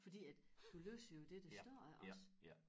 Fordi at du læser jo det der står op også